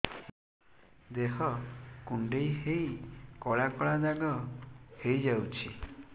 ଦେହ କୁଣ୍ଡେଇ ହେଇ କଳା କଳା ଦାଗ ହେଇଯାଉଛି